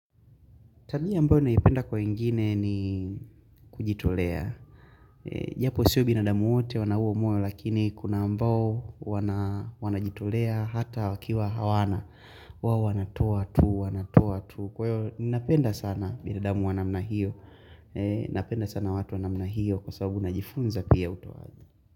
Talia mbao naipenda kwa ingine ni kujitolea. Japo siyo binada wote wana huo mwoyo lakini kuna ambao wana jitolea hata wakiwa hawana. Wawa wanatoa tu, wanatoa tu. Kwa hiyo, napenda sana binadamu wanamna hiyo. Napenda sana watu wanamna hiyo kwa sababu na jifunza pia utowali.